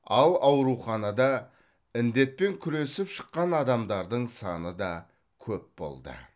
ал ауруханада індетпен күресіп шыққан адамдардың саны да көп болды